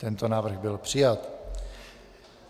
Tento návrh byl přijat.